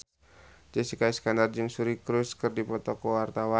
Jessica Iskandar jeung Suri Cruise keur dipoto ku wartawan